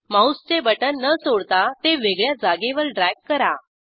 माऊसचे बटण न सोडता ते वेगळ्या जागेवर ड्रॅग करा